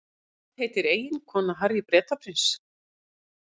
Hvað heitir eiginkona Harry Bretaprins?